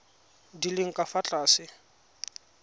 di leng ka fa tlase